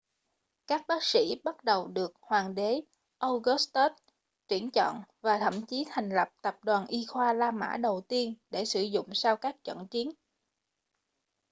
các bác sĩ bắt đầu được hoàng đế augustus tuyển chọn và thậm chí thành lập tập đoàn y khoa la mã đầu tiên để sử dụng sau các trận chiến